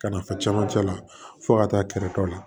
Ka nafa caman la fo ka taa kɛrɛfɛ la